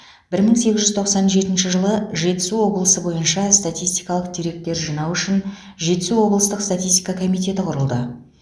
бір мың сегіз жүз тоқсан жетінші жылы жетісу облысы бойынша статистикалық деректер жинау үшін жетісу облыстық статистика комитеті құрылды